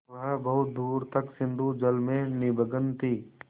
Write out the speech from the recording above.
वह बहुत दूर तक सिंधुजल में निमग्न थी